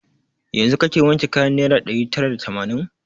Yanzun kake wanke kayan naira ɗari tara da tamanin?